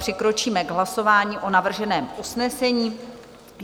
Přikročíme k hlasování o navrženém usnesení.